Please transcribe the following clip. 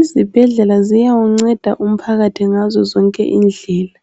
Izibhedlela ziyawunceda umphakathi ngazo zonke indlela.